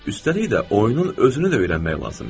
Üstəlik də oyunun özünü də öyrənmək lazım idi.